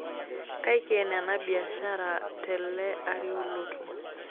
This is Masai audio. Kaiken ena biashara tekele ari olotu.